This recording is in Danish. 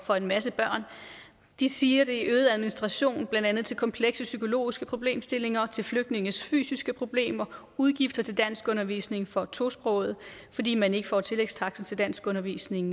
for en masse børn de siger at det betyder øget administration blandt andet til komplekse psykologiske problemstillinger og til flygtninges fysiske problemer udgifter til danskundervisning for tosprogede fordi man ikke får tillægstaksten til danskundervisning